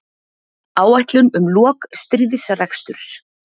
Áætlun um lok stríðsreksturs